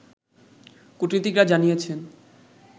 কূটনীতিকরা জানিয়েছেন